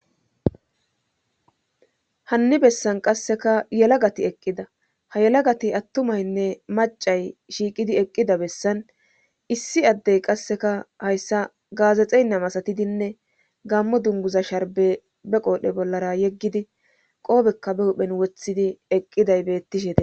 hanni bessan qasseka yelagati eqqida ha yelagati attumaynne macay shiiqidi eqqida bessan issi addey qasseka hayssa gaazexeynna masatidinne gammo dunguza sharbe be qoodhe bollara yeggidi qoobekka be huphen woththidi eqqiday bettishete